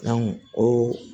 o